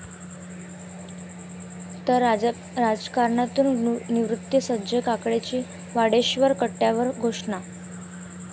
..तर राजकारणातून निवृत्ती, संजय काकडेंची वाडेश्वर कट्ट्यावर घोषणा